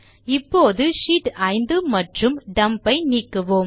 இப்போது ஷீட்ஸ் 5 மற்றும் டம்ப் ஐ நீக்குவோம்